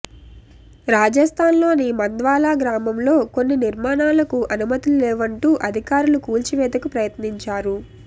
రాజస్థాన్ లోని మంద్వాలా గ్రామంలో కొన్ని నిర్మాణాలకు అనుమతుల్లేవంటూ అధికారులు కూల్చివేతకు ప్రయత్నించారు